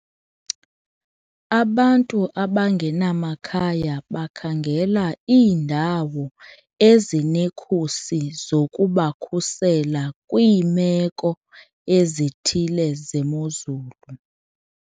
Abantu abangenamakhaya bakhangela iindawo ezinekhusi zokubakhusela kwiimeko ezithile zemozulu.